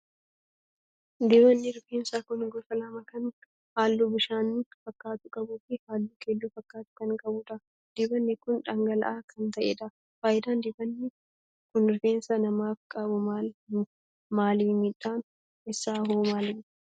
Dibannii rifeensaa kun gosa lama kan halluu bishaan fakkaatu qabuu fi halluu keelloo fakkaatu kan qabudha. Dibanni kun dhangala'aa kan ta'edha. Faayidaan dibanni kun rifeensa namaaf qabu maali miidhaan isaa hoo maali?